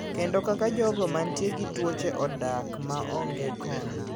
Kendo kaka jogo mantie gi tuoche odak maonge kony.